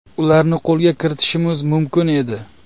Ularni qo‘lga kiritishimiz mumkin edi.